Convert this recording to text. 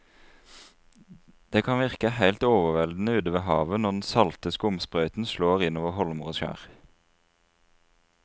Det kan virke helt overveldende ute ved havet når den salte skumsprøyten slår innover holmer og skjær.